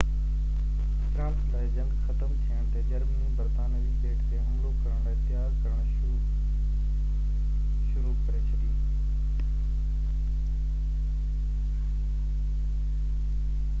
France لاءِ جنگ ختم ٿيڻ تي جرمني برطانوي ٻيٽ تي حملو ڪرڻ لاءِ تيار ڪرڻ شروع ڪري ڇڏي